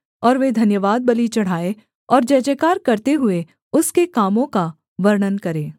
और वे धन्यवादबलि चढ़ाएँ और जयजयकार करते हुए उसके कामों का वर्णन करें